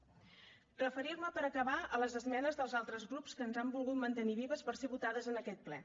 referir me per acabar a les esmenes dels altres grups que les han volgut mantenir vives per ser votades en aquest ple